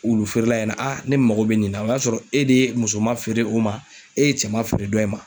Wulu feerela in na aa ne mago be nin na o y'a sɔrɔ e de ye musoma feere o ma e ye cɛ ma feere dɔ in ma